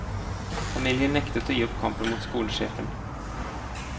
Familien nektet å gi opp kampen mot skolesjefen.